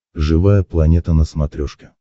живая планета на смотрешке